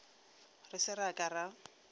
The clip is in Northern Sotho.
re se ra ka ra